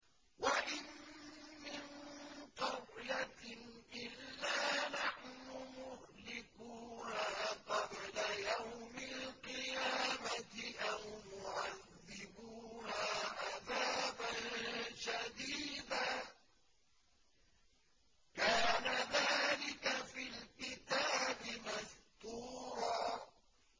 وَإِن مِّن قَرْيَةٍ إِلَّا نَحْنُ مُهْلِكُوهَا قَبْلَ يَوْمِ الْقِيَامَةِ أَوْ مُعَذِّبُوهَا عَذَابًا شَدِيدًا ۚ كَانَ ذَٰلِكَ فِي الْكِتَابِ مَسْطُورًا